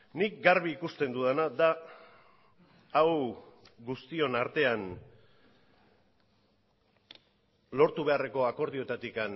nik garbi ikusten dudana da hau guztion artean lortu beharreko akordioetatik